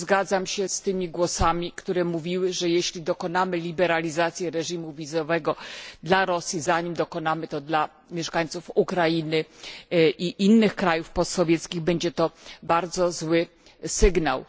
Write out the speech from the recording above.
I tu zgadzam się z tymi głosami, które mówiły, że jeśli dokonamy liberalizacji reżimu wizowego dla Rosji, zanim dokonamy tego dla mieszkańców Ukrainy i innych krajów post sowieckich będzie to bardzo zły sygnał.